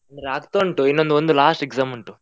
ಆಗ್ತಾ ಉಂಟು, ಇನ್ನೊಂದ್ ಒಂದು last exam ಉಂಟು.